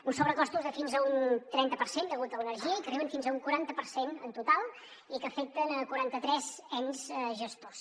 uns sobrecostos de fins a un trenta per cent degut a l’energia i que arriben fins a un quaranta per cent en total i que afecten quaranta tres ens gestors